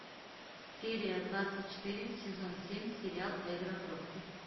серия двадцать четыре сезон семь сериал эрго прокси